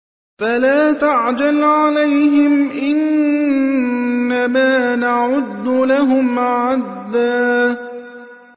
فَلَا تَعْجَلْ عَلَيْهِمْ ۖ إِنَّمَا نَعُدُّ لَهُمْ عَدًّا